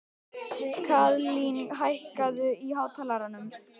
Kaðlín, hækkaðu í hátalaranum.